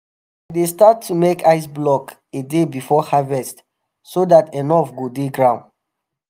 dem dey start to make ice block a day before harvest so dat enough go dey ground.